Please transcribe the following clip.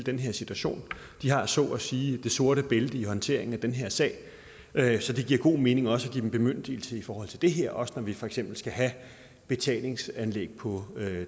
den her situation de har så at sige det sorte bælte i håndteringen af den her sag så det giver god mening også at give dem bemyndigelse i forhold til det her også når vi for eksempel skal have betalingsanlæg på